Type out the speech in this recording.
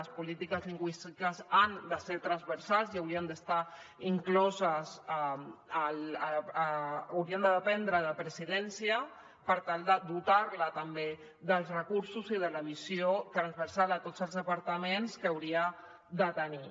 les polítiques lingüístiques han de ser transversals i haurien de dependre de presidència per tal de dotar les també dels recursos i de la visió transversal de tots els departaments que haurien de tenir